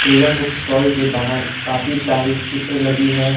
Teja book stall के बाहर काफी सारी चित्र लगी है।